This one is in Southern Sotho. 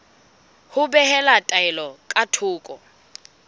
ho behela taelo ka thoko